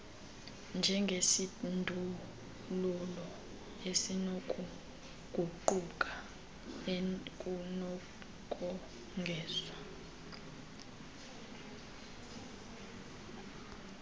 njengesindululo esinokuguquguquka ekunokongezwa